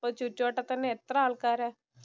ഇപ്പം ചുറ്റുവട്ടത്ത് തന്നെ എത്ര ആൾക്കാരാ.